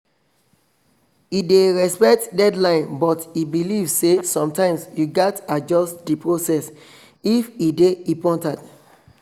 e dey respect deadline but e believe say sometimes you gats adjust the process if e dey important